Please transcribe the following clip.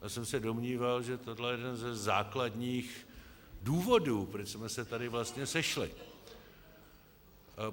Já jsem se domníval, že tohle je jeden ze základních důvodů, proč jsme se tady vlastně sešli.